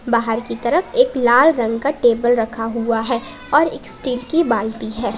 बाहर की तरफ एक लाल रंग का टेबल रखा हुआ है और एक स्टील की बाल्टी है।